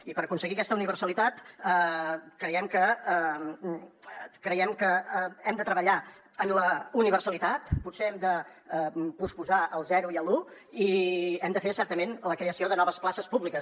i per aconseguir aquesta universalitat creiem que hem de treballar en la universalitat potser hem de posposar el zero i l’un i hem de fer certament la creació de noves places públiques